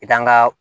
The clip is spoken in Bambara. I kan ga